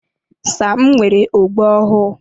Sam nwere ogbo ọhụụ.